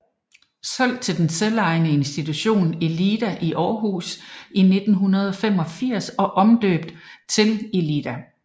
Solgt til den selvejende institution Elida i Aarhus i 1985 og omdøbt til Elida